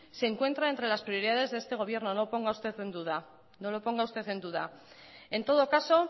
se encuentra entre las prioridades de este gobierno no lo ponga usted en duda en todo caso